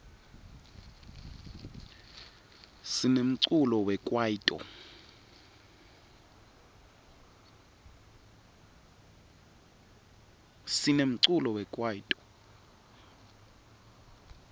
sinemculo wekwaito